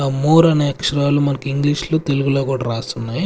The more అనే అక్షరాలు మనకి ఇంగ్లీష్ లో తెలుగులో కూడా రాసున్నాయి.